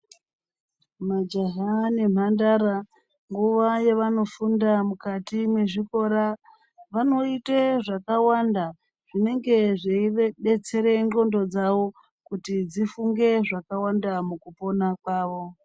Majaha nembandara nguwa yavanofunda mukati mezvikora vanoita zvakawanda zvinenge zveidetsera ngonxo dzawo dzifunge zvakawanda mukupona kwawo.